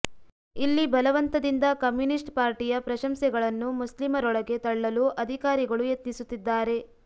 ಇಲ್ಲಿ ಬಲವಂತದಿಂದ ಕಮ್ಯುನಿಸ್ಟ್ ಪಾರ್ಟಿಯ ಪ್ರಶಂಸೆಗಳನ್ನು ಮುಸ್ಲಿಮರೊಳಗೆ ತಳ್ಳಲು ಅಧಿಕಾರಿಗಳು ಯತ್ನಿಸುತ್ತಿದ್ದಾರೆ